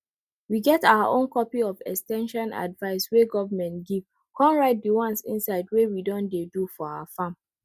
we get our own copy of ex ten sion advice wey government give con write di ones inside wey we don dey do for our farm